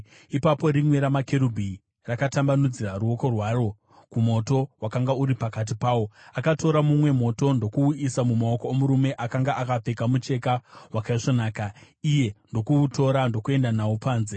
Ipapo rimwe ramakerubhi rakatambanudzira ruoko rwaro kumoto wakanga uri pakati pawo. Akatora mumwe moto ndokuuisa mumaoko omurume akanga akapfeka mucheka wakaisvonaka, iye ndokuutora ndokuenda nawo panze.